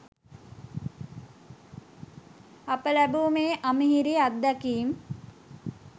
අප ලැබූ මේ අමිහිරි අත්දැකීම්